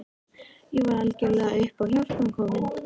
Ég var algjörlega upp á hjálpina komin.